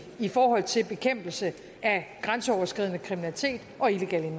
i forhold til bekæmpelse af grænseoverskridende kriminalitet og illegal